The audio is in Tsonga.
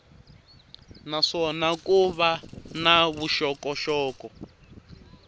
naswona ko va na vuxokoxoko